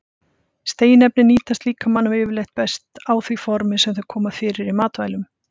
Steinefnin nýtast líkamanum yfirleitt best á því formi sem þau koma fyrir í matvælum.